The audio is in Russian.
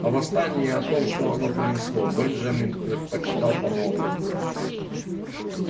о восстании и о том что оно принесло бенджамин предпочитал помалкивать